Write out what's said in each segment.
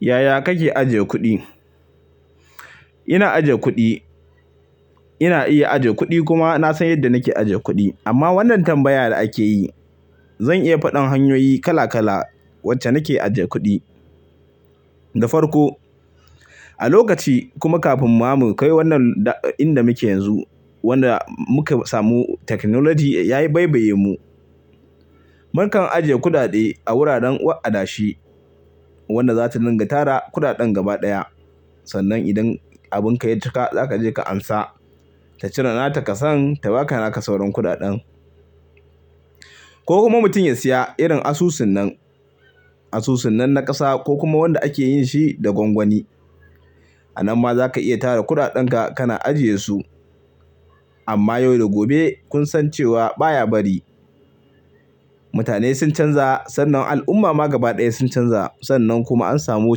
Yaya kake ajiye kuɗi? Ina iya ajiye kuɗi kuma ina san yadda nake ajiye kuɗi. Amma wannan tambayar da ake yi, zan iya faɗar hanyoyi kala kala wacce nake ajiye kuɗi da farko. A lokaci kuma kafin mami kai wannan inda muke yanzu, wanda muka samu technology ya yi baibaye mu. Mukan ajiye kuɗaɗe a wuraren wa'adashi wanda za ta dinga tara kuɗaɗen gaba ɗaya. Sannan idan abunka ya cika za ka je ka amsa. Ta cire nata ka san ta baka naka sauran kuɗaɗen. Ko kuma mutum ya siya irin asusunnan, asusunnan na ƙasa ko kuma wanda ake yin shi da gwangwani. A nan ma za ka iya tara kuɗaɗan ka kana ajiye su. Amma yau da gobe kun san cewa baya bari. Mutane sun canza sannan al'umma ma gaba ɗaya sun canza sannan kuma an samu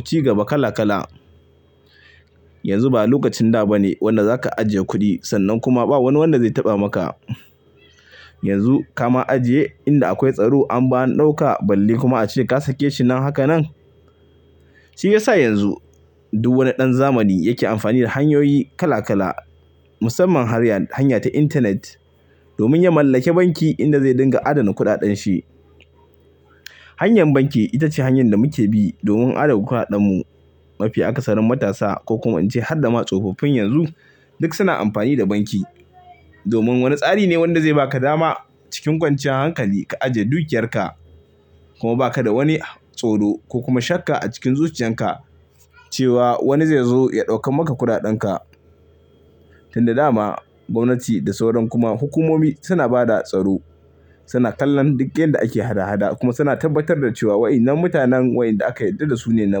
cigaba kala kala. Yanzu ba lokacin da ba ne wanda za ka ajiye kuɗi sannan kuma ba wani wanda zai taɓa maka. Yanzu ka ma ajiye inda akwai tsaro an ba ɗauka balli kuma a cire ka sake shi nan haka nan. Shi ya sa yanzu duk wani ɗan zamani yake amfani da hanyoyi kala kala musamman hanyar, hanya ta intanet domin ya mallake banki inda zai dinga adana kuɗaɗan shi. Hanyar banki ita ce hanyar da muke bi don adana kuɗaɗan mu mafi aka sanin matasa ko kuma in ce har da ma tsofaffin yanzu duk suna amfani da banki domin wani tsari ne wanda zai baka dama cikin kwanciyar hankali ka ajiye dukiyarka kuma ba ka da wani tsoro ko kuma shakka a cikin zuciyan ka cewa wani zai zo ya ɗaukan maka kuɗaɗan ka. Tunda dama gwamnati da sauran kuma hukumomi suna ba da tsaro. Suna kallon duk yanda ake hada hada kuma suna tabbatar da cewa wa'inan mutanen waɗanda aka yarda da su ne na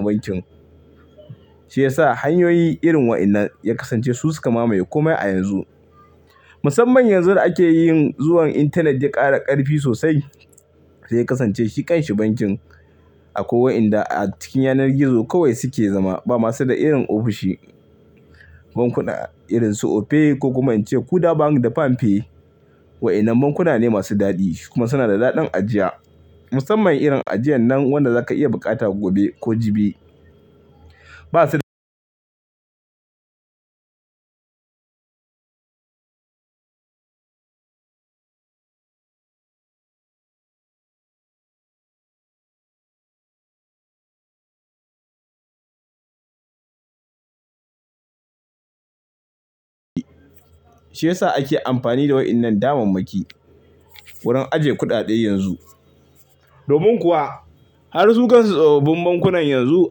bankin. Shi ya sa hanyoyi irin wa'inan ya kasance su suka mamaye komai a yanzu. Musamman yanzu da ake yin zuwan intanet ya ƙara ƙarfi sosai. Shi ya kasance shi ƙan shi bankin a kwai wa inda a cikin yanar gizo kawai suke zama ba masu da irin ofishi. Bankuna irin su Opay ko kuma in ce Kuda bank da Palpay. Wa'inan bankuna ne masu daɗi kuma suna da daɗin ajiya. Musamman irin ajiyan nan wanda za ka iya buƙata gobe ko jibi. Ba su da shi ya sa ake amfani da wa'inan daba banki wurin ajiye kuɗaɗe yanzu. Domin kuwa har sukan tsofafin bankunan yanzu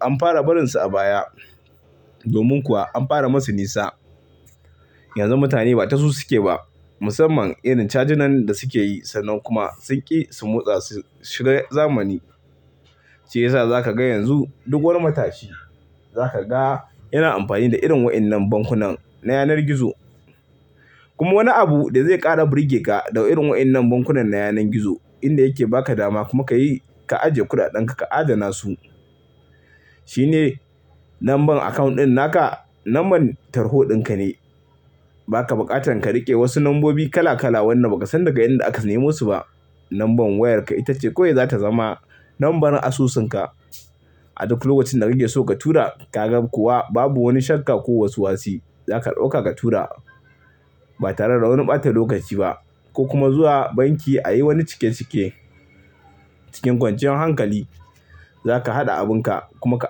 an fara barin su a baya. Domin kuwa an fara masu nisa. Yanzu mutane ba ta su suke ba. Musamman irin cajin nan da suke yi sannan kuma sun ƙi su motsa, shiga zamani. Shi ya sa za ka ga yanzu duk wani matashi za ka ga yana amfani da irin wa'innan bankunan na yanar gizo. Kuma wani abu da zai ƙara birge ka da irin wa'innan bankunan na yanar gizo inda yake ba ka dama kuma ka yi, ka ajiye kuɗaɗan ka, ka adana su. Shi ne lambar akawunt ɗin naka lambar tarho ɗin ka ne. Ba ka buƙatan ka riƙe wasu lambobi kala kala wanda ba ka san daga inda aka nemo su ba. Lambar wayarka ita ce kawai za ta zama lambar asusunka. A duk lokacin da kake so ka tura ka ga kuwa babu wani shakka ko wasu wasu. Za ka ɗauka ka tura ba tare da wani ɓata lokaci ba. Ko kuma zuwa banki a yi wani cike cike cikin kwanciyar hankali. Za ka haɗa abunka kuma ka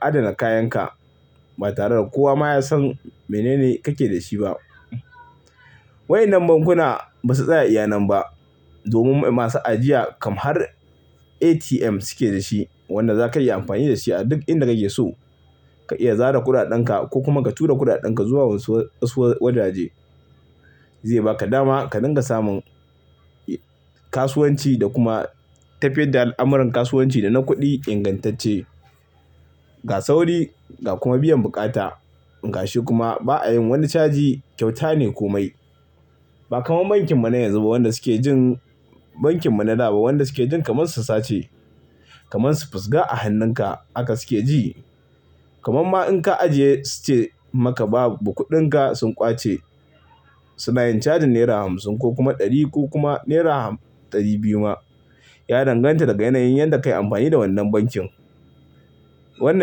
adana kayan ka ba tare da kowa ma ya san mene ne kake da shi ba. Wa'innan bankuna ba su tsaya iya nan ba domin masu ajiya kam har ATM suke da shi wanda za ka iya amfani da shi a duk inda kake so. Ka iya zara kuɗaɗan ka ko kuma ka tura kuɗaɗan ka zuwa wasu, wasu wajaje. Zai baka dama ka dinga samun kasuwanci da kuma ta fiye da al'amuran kasuwanci da na kuɗi ingantacce. Ga sauri ga kuma biyan buƙata. Gashi kuma ba a yin wani caji kyauta ne komai. Ba kamar bankin muna yanzu ba wanda suke jin bankin muna da ba wanda suke jin kamar su sace. Kamar su fusga a hannunka aka suke ji. Kaman ma in ka ajiye su ce maka ba kuɗinka sun ƙwace. Su na yin cajin naira hamsin ko kuma ɗari ko kuma naira ɗari biyu ma. Ya danganta daga yanayin yadda ka yi amfani da wannan bankin. Wannan shi.